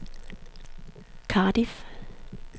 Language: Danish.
Cardiff